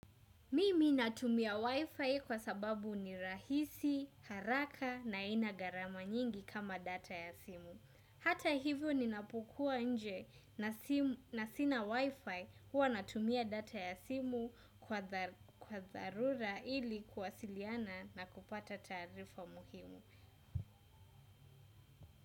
Mimi natumia wi-fi kwa sababu ni rahisi haraka na haina gharama nyingi kama data ya simu hata hivyo ninapokuwa nje na sina wi-fi huwa natumia data ya simu kwa dharura ili kuwasiliana na kupata taarifa muhimu.